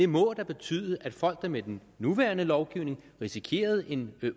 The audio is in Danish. må da betyde at folk der med den nuværende lovgivning risikerede en